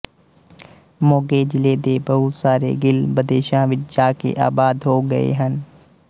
ਮੋਗੇ ਜਿਲ੍ਹੇ ਦੇ ਬਹੁਤ ਸਾਰੇ ਗਿੱਲ ਬਦੇਸ਼ਾਂ ਵਿੱਚ ਜਾ ਕੇ ਆਬਾਦ ਹੋ ਗਏ ਹਨ